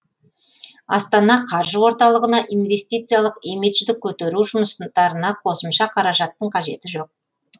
астана қаржы орталығына инвестициялық имиджді көтеру жұмыстарына қосымша қаражаттың қажеті жоқ